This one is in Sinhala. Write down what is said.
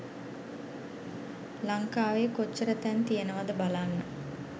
ලංකාවේ කොච්චර තැන් තියනවද බලන්න